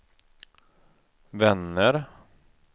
vänner